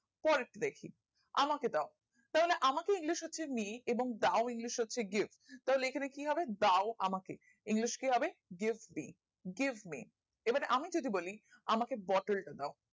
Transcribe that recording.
পরেরটা দেখি আমাকে দাও তাহলে আমাকে english হচ্ছে me এবং এবং দাও english হচ্ছে gift তাহলে এখানে কি হবে দাও আমাকে english কি হবে give me give me এবার আমি যদি বলি আমাকে বতল টা দাও